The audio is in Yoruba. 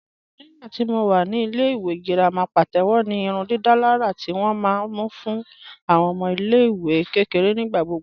Nígbàtí mó wà ní ilẹ̀-ìwé gíràmà pàtẹwò ní ìrùndìdàlàrà tí wọn ma mú fún awọn ọmọ ilẹ̀-ìwé kẹkẹ̀rẹ̀ nígbàgbọ̀